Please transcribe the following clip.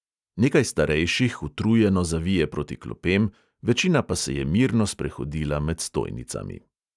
Nekaj starejših utrujeno zavije proti klopem, večina pa se je mirno sprehodila med stojnicami.